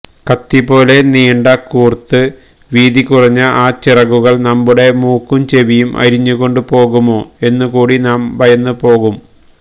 കത്തിപോലെ നീണ്ടുകൂര്ത്ത് വീതികുറഞ്ഞ ആ ചിറകുകള് നമ്മുടെ മൂക്കും ചെവിയും അരിഞ്ഞുകൊണ്ട് പോകുമോ എന്നുകൂടി നാം ഭയന്നുപോകും